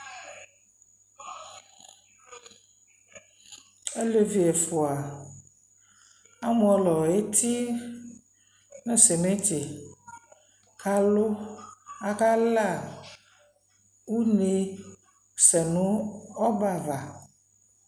alɛvi ɛƒʋa amɔlɔ ɛti nʋ cementi kʋ alʋ, aka laa ɔnɛ zɔnʋ ɔbɛ aɣa